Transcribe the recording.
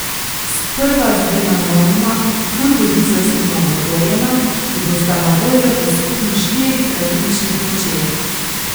Sprva z dvema novima turbodizelskima motorjema, ki bosta na voljo v skupno štirih različnih močeh.